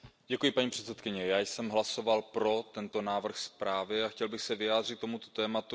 Paní předsedající, já jsem hlasoval pro tento návrh zprávy a chtěl bych se vyjádřit k tomuto tématu.